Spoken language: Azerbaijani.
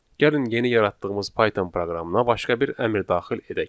Gəlin yeni yaratdığımız Python proqramına başqa bir əmr daxil edək.